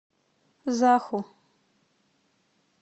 заху